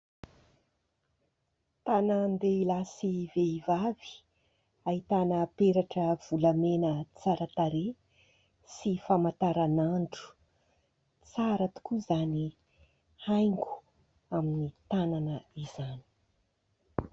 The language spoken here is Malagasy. Tànan-dehilahy sy vehivavy, ahitana peratra volamena tsara tarehy sy famantaranandro. Tsara tokoa izany haingo amin'ny tànana izany.